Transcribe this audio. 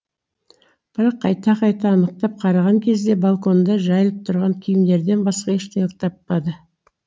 бірақ қайта қайта анықтап қараған кезде балконда жайылып тұрған киімдерден басқа ештеңе таппады